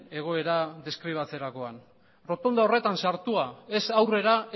egoera deskribatzerakoan errotonda horretan sartua ez aurrera